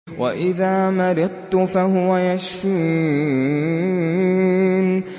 وَإِذَا مَرِضْتُ فَهُوَ يَشْفِينِ